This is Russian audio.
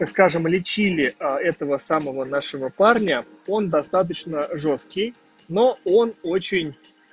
скажем лечили этого самого нашего парня он достаточно жёсткий но он очень